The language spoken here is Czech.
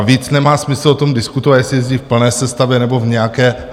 A víc nemá smysl o tom diskutovat, jestli jezdí v plné sestavě, nebo v nějaké.